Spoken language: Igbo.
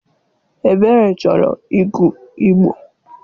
Ebere chọrọ ịgụ Igbo.